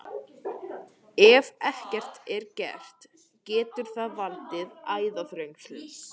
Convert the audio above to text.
Ef ekkert er að gert getur það valdið æðaþrengslum.